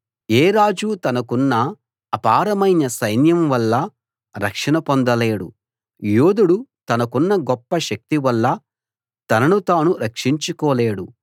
ఏ రాజూ తనకున్న అపారమైన సైన్యం వల్ల రక్షణ పొందలేడు యోధుడు తనకున్న గొప్ప శక్తి వల్ల తనను తాను రక్షించుకోలేడు